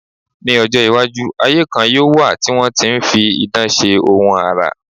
Ní ọjọ́-iwájú, ayé kan yóò wà tí wọ́n ti ń fi idán ṣe ohun àrà.